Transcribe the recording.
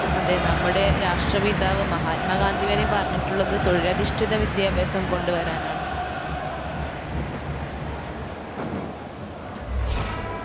അതെ നമ്മുടെ രാഷ്ട്ര പിതാവ് മഹാത്മാഗാന്ധി വരെ പറഞ്ഞിട്ടുള്ളത് തൊഴിലധിഷ്ഠിത വിദ്യാഭ്യാസം കൊണ്ട് വരാനാണ്